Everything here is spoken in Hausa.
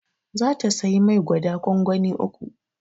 Za ta siyi mai gwada kwankwani uku